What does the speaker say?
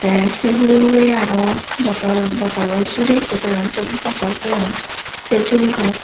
te se hurey hurey arow botol botolo jurey ikko toyon siot botol toyon se juribot.